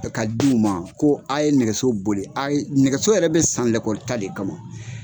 Ka di u ma ko a ye nɛgɛso boli a ye nɛgɛso yɛrɛ bɛ san lekɔli taa de kama